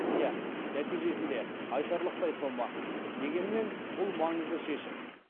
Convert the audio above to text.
иә нәтижесінде айтарлықтай сома дегенмен бұл маңызды шешім